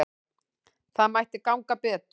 Það mætti ganga betur.